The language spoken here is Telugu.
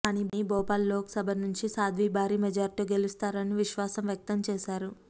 కానీ భోపాల్ లోక్ సభ నుంచి సాద్వీ భారీ మెజార్టీతో గెలుస్తారని విశ్వాసం వ్యక్తం చేశారు